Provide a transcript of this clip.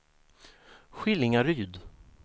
Skillingaryd